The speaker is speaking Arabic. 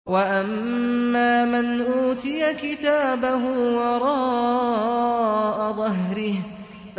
وَأَمَّا مَنْ أُوتِيَ كِتَابَهُ وَرَاءَ ظَهْرِهِ